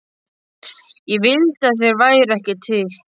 Ég vildi að þeir væru ekki til.